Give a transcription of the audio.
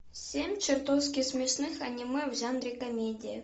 семь чертовски смешных аниме в жанре комедия